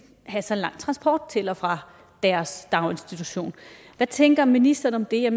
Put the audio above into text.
have så lang transport til og fra deres daginstitution hvad tænker ministeren om det er